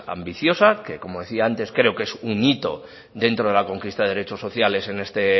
ambiciosa que como decía antes creo que es un hito dentro de la conquista de derechos sociales en este